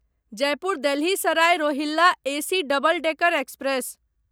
Jaipur Delhi Sarai Rohilla AC double decker express